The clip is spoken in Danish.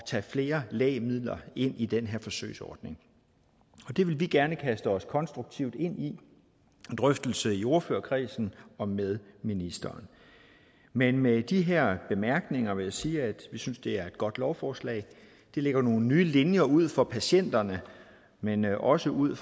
tage flere lægemidler ind i den her forsøgsordning vi vil gerne kaste os konstruktivt ind i en drøftelse i ordførerkredsen og med ministeren men med de her bemærkninger vil jeg sige at vi synes det er et godt lovforslag det lægger nogle nye linjer ud for patienterne men også ud